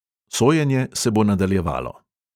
Sojenje se bo nadaljevalo.